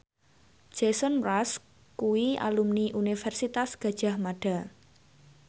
Jason Mraz kuwi alumni Universitas Gadjah Mada